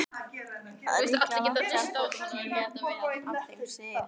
Það er líklega langt síðan fólk lét af þeim sið.